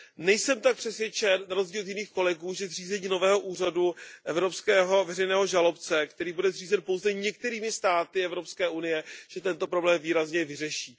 Nejsem tak přesvědčen, na rozdíl od jiných kolegů, že zřízení nového Úřadu evropského veřejného žalobce, který bude zřízen pouze některými státy Evropské unie, tento problém výrazně vyřeší.